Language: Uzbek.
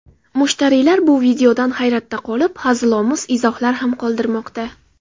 Mushtariylar bu videodan hayratda qolib, hazilomuz izohlar ham qoldirmoqda.